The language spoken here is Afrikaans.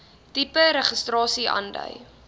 tipe registrasie aandui